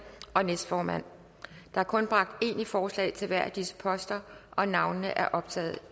og næstformand der er kun bragt én i forslag til hver af disse poster og navnene er optaget